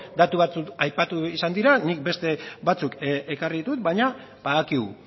datu batzuk aipatu izan dira nik beste batzuk ekarri ditut baina badakigu